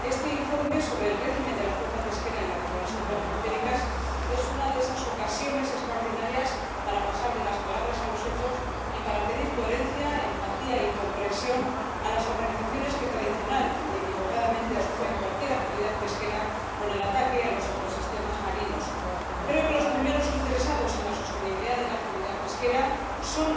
este informe sobre el régimen de la flota pesquera en las regiones ultraperiféricas es una de esas ocasiones extraordinarias para pasar de las palabras a los hechos y para pedir coherencia, empatía y comprensión a las organizaciones que tradicional y equivocadamente asocian cualquier actividad pesquera con el ataque a los ecosistemas marinos. Creo que los primeros interesados en la sostenibilidad de la actividad pesquera son los propios pescadores.